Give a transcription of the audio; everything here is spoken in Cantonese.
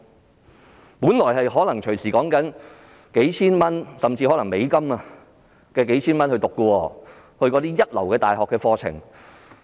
學費本來可能動輒數千元甚或數千美元，因為是一流大學的課程。